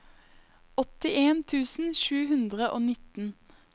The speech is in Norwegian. åttien tusen sju hundre og nitten